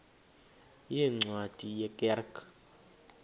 yeencwadi ye kerk